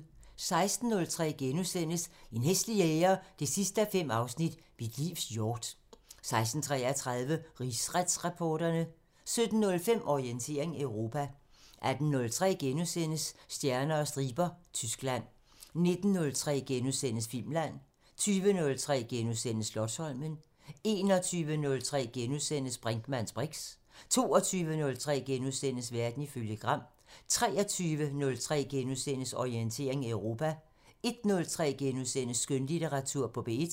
16:03: En hæslig jæger 5:5 – Mit livs hjort * 16:33: Rigsretsreporterne 17:05: Orientering Europa 18:03: Stjerner og striber – Tyskland * 19:03: Filmland * 20:03: Slotsholmen * 21:03: Brinkmanns briks * 22:03: Verden ifølge Gram * 23:03: Orientering Europa * 01:03: Skønlitteratur på P1 *